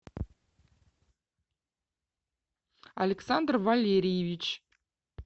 александр валерьевич